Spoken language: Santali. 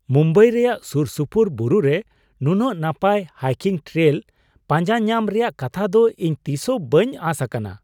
ᱢᱩᱢᱵᱟᱭ ᱨᱮᱭᱟᱜ ᱥᱩᱨᱼᱥᱩᱯᱩᱨ ᱵᱩᱨᱩᱨᱮ ᱱᱩᱱᱟᱹᱜ ᱱᱟᱯᱟᱭ ᱦᱟᱭᱠᱤᱝ ᱴᱨᱮᱭᱞ ᱯᱟᱸᱡᱟᱧᱟᱢ ᱨᱮᱭᱟᱜ ᱠᱟᱛᱷᱟ ᱫᱚ ᱤᱧ ᱛᱤᱥᱦᱚᱸ ᱵᱟᱹᱧ ᱟᱸᱥ ᱟᱠᱟᱱᱟ ᱾